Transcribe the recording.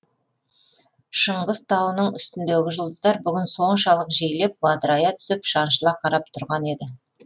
шыңғыс тауының үстіндегі жұлдыздар бүгін соншалық жиілеп бадырая түсіп шаншыла қарап тұрған еді